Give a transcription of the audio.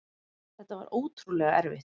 Þetta var ótrúlega erfitt.